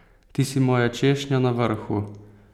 Ti si moja češnja na vrhu!